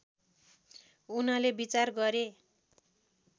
उनले विचार गरे